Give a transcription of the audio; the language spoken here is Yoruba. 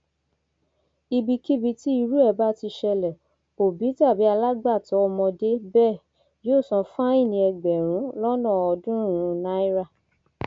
ibikíbi tí irú ẹ bá ti ṣẹlẹ òbí tàbí alágbàtọ ọmọdé bẹẹ yóò san fáìní ẹgbẹrún lọnà ọọdúnrúnún náírà